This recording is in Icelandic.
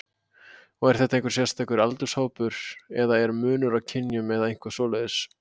Og er þetta einhver sérstakur aldurshópur eða er munur á kynjum eða eitthvað svoleiðis?